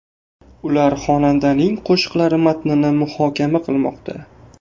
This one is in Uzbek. Ular xonandaning qo‘shiqlari matnini muhokama qilmoqda.